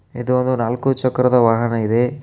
ಇದು ಒಂದು ನಾಲ್ಕು ಚಕ್ರದ ವಾಹನ ಇದೆ.